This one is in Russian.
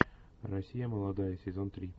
россия молодая сезон три